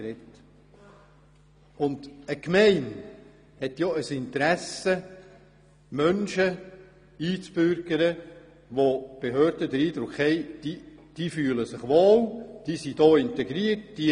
Eine Gemeinde hat ein Interesse, Menschen einzubürgern, die bei den Behörden den Eindruck erwecken, dass sie sich hier wohl fühlen und integriert sind.